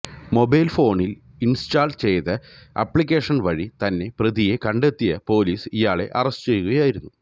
mobile ഫോണിൽ install ചെയ്ത application വഴി തന്നെ പ്രതിയെ കണ്ടെത്തിയ പൊലീസ് ഇയാളെ അറസ്റ്റ് ചെയ്യുകയായിരുന്നു